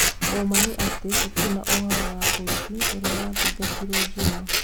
Ũma nĩ atĩ gũtirĩ na ũhoro wa ũici ũria wa thitangirwo njumaa